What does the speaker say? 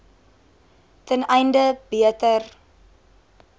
ten einde beter